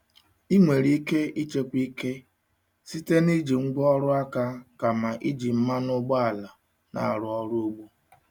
Ị nwere ike ịchekwa ike site na iji ngwá ọrụ aka kama iji mmanụ ụgbọala na-arụ ọrụ ugbo.